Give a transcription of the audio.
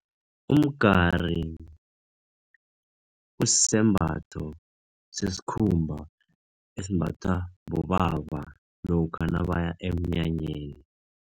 Umgari kusembatho sesikhumba esimbathwa bobaba lokha nabaya emnyanyeni.